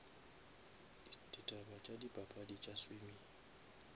ditaba tša dipapadi tša swimming